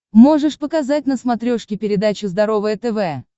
можешь показать на смотрешке передачу здоровое тв